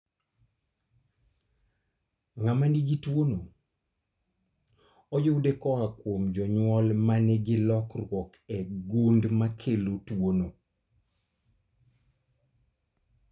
Ng'ama nigi tuo no ,oyude koa kuom jonyuol manigi lokruok e gund makelo tuo no